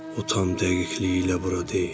O tam dəqiqliyi ilə bura deyil.